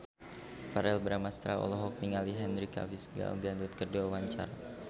Verrell Bramastra olohok ningali Henry Cavill Gal Gadot keur diwawancara